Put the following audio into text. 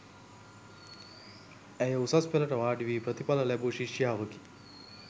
ඇය උසස් පෙළට වාඩි වී ප්‍රතිඵල ලැබූ ශිෂ්‍යාවකි.